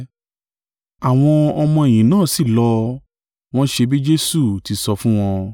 Àwọn ọmọ-ẹ̀yìn náà sí lọ, wọ́n ṣe bí Jesu ti sọ fún wọn.